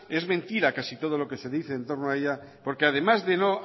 es mentira casi todo lo que se dice entorno a ella porque además de no